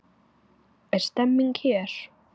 Er stemming hér?